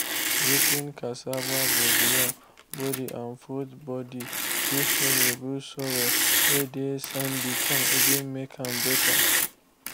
rot ten cassava bodyyam body and fruits body fit help rebuild soil whey dey sandy come even make am better.